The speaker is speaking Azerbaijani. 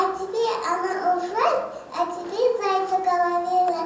Əcəbi ana oxuyan, əcəbi zəifə qala bilər.